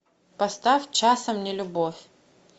поставь часом не любовь